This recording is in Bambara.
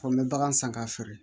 Ko n bɛ bagan san k'a feere